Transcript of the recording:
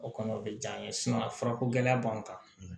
O kɔni o bɛ diya n ye furako gɛlɛya b'an kan